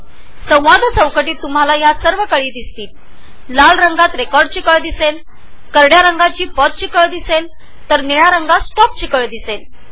dialogue बॉक्समध्ये तुम्हाला हे सर्व पर्याय दिसतील त्याचबरोबर लाल रंगात रेकॉर्डचे करड्या रंगात पॉजचे आणि निळ्या रंगात स्टॉपचे बटन दिसेल